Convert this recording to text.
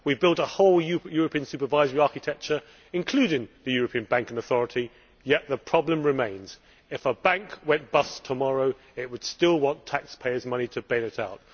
We have built a whole European supervisory architecture, including the European Banking Authority, yet the problem remains. If a bank went bust tomorrow it would still want taxpayers' money to bail it out.